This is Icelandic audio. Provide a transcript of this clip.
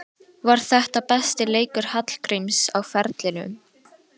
Var þetta besti leikur Hallgríms á ferlinum?